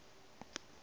ge re be re sa